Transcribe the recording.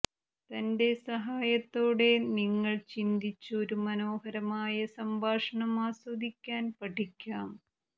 തന്റെ സഹായത്തോടെ നിങ്ങൾ ചിന്തിച്ചു ഒരു മനോഹരമായ സംഭാഷണം ആസ്വദിക്കാൻ പഠിക്കാം